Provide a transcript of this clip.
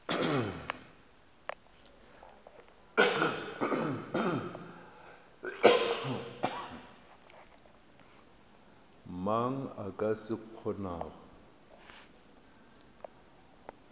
mang a ka se kgonago